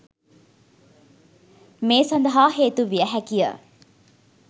මේ සඳහා හේතු විය හැකිය.